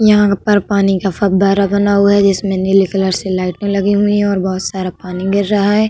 यहाँ पर पानी का फव्वारा बना हुआ है जिसमें नीले कलर से लाइटें में लगी हुई हैं और बहोत सारा पानी गिर रहा है।